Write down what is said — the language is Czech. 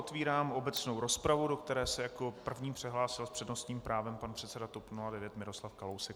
Otvírám obecnou rozpravu, do které se jako první přihlásil s přednostním právem pan předseda TOP 09 Miroslav Kalousek.